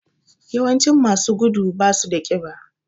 Yawancin masu gudu basu da ƙiba